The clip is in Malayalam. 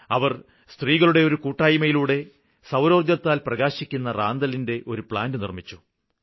അവര് സ്ത്രീകളുടെ ഒരു കൂട്ടായ്മയിലൂടെ സൌരോര്ജ്ജത്താല് പ്രകാശിക്കുന്ന റാന്തലിന്റെ ഒരു പ്ലാന്റ് നിര്മ്മിച്ചു